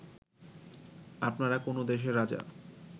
আপনারা কোন দেশের রাজা